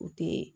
U tɛ